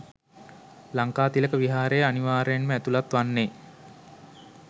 ලංකාතිලක විහාරය අනිවාර්යයෙන්ම ඇතුළත් වන්නේ